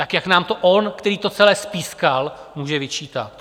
Tak jak nám to on, který to celé spískal, může vyčítat?